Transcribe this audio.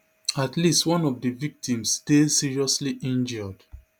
at least one of di victims dey seriously injured